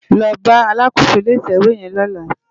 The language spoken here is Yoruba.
Lò bá àlákósó ilé itèwé yèn lòlá